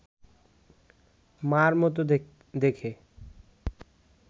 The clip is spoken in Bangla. মার মতো দেখে